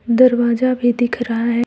दरवाजा भी दिख रहा है।